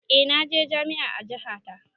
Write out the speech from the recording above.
Eh naje jami'a a jaha ta